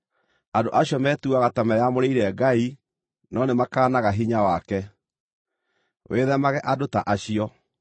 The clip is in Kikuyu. Andũ acio metuaga ta meyamũrĩire Ngai no nĩmakaanaga hinya wake. Wĩthemage andũ ta acio.